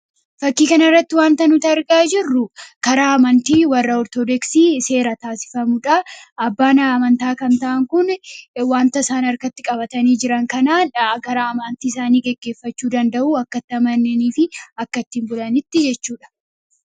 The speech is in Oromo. Fakkii kanarratti wanti argaa jirru karaa warra amantii Orthodooksii seera taasifamudha. Abbaan amantaa kun wanta isaan harkatti qabatanii jiran kanaan amantii isaanii gaggeefffachuu danda’u, akka itti amananii fi akka ittiin bulanitti jechuudha.